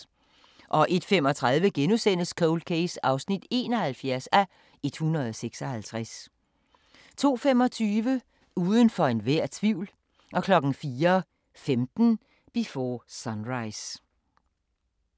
01:35: Cold Case (71:156)* 02:25: Udenfor enhver tvivl 04:15: Before Sunrise